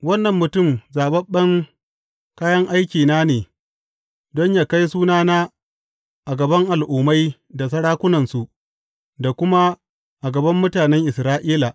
Wannan mutum zaɓaɓɓen kayan aikina ne don yă kai sunana a gaban Al’ummai da sarakunansu da kuma a gaban mutanen Isra’ila.